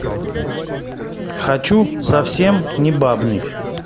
хочу совсем не бабник